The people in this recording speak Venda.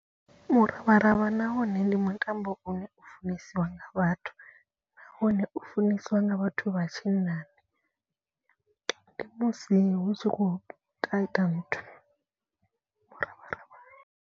Muravharavha nawone ndi mutambo une u funesiwa nga vhathu. Nahone u funesiwa nga vhathu vha tshinnani ndi musi hu tshi khou kata nthu muravharavha.